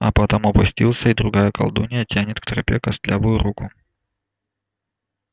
а потом опустился и другая колдунья тянет к тропе костлявую руку